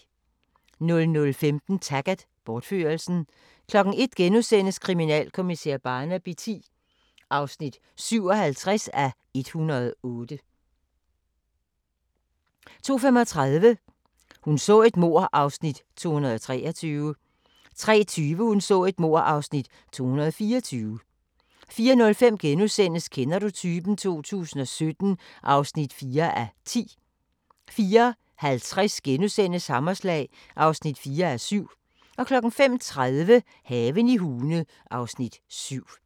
00:15: Taggart: Bortførelsen 01:00: Kriminalkommissær Barnaby X (57:108)* 02:35: Hun så et mord (Afs. 223) 03:20: Hun så et mord (Afs. 224) 04:05: Kender du typen? 2017 (4:10)* 04:50: Hammerslag (4:7)* 05:30: Haven i Hune (Afs. 7)